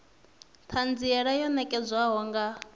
t hanziela yo nekedzwaho nga